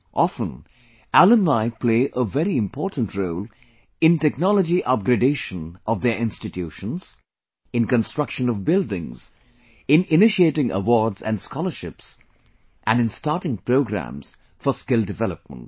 Often, alumni play a very important role in technology upgradation of their institutions, in construction of buildings, in initiating awards and scholarships and in starting programs for skill development